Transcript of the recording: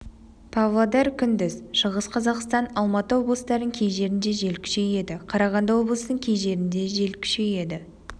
павлодар күндіз шығыс қазақстан алматы облыстарының кей жерінде жел күшейеді қарағанды облысының кей жерінде жел күшейеді